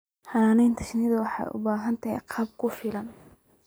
Xannaanada shinnidu waxay u baahan tahay agab ku filan.